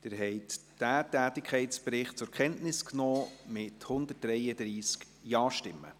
Sie haben diesen Tätigkeitsbericht zur Kenntnis genommen, mit 133 Ja-Stimmen.